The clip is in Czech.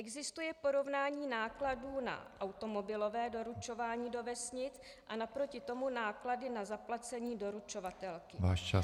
Existuje porovnání nákladů na automobilové doručování do vesnic a naproti tomu náklady na zaplacení doručovatelky?